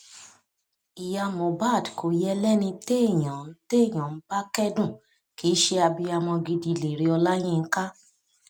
ìyá mohbad kò yẹ lẹni téèyàn ń téèyàn ń bá kẹdùn kì í ṣe abiyamọ gidiléré ọláyinka